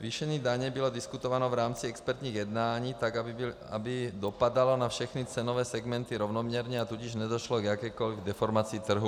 Zvýšení daně bylo diskutováno v rámci expertních jednání tak, aby dopadalo na všechny cenové segmenty rovnoměrně, a tudíž nedošlo k jakékoliv deformaci trhu.